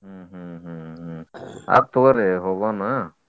ಹ್ಮ್ ಹ್ಮ್ ಹ್ಮ್ ಹ್ಮ್ ಹ್ಮ್ ಆತ್ ತೊಗೋರಿ ಹೋಗೋಣ.